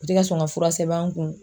U tɛ ka sɔn ka fura sɛbɛn an kun.